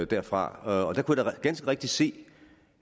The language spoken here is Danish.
derfra og der kunne jeg da ganske rigtig se